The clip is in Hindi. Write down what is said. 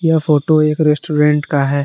यह फोटो एक रेस्टोरेंट का है।